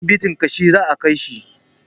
Asibitin ƙashi za a kaishi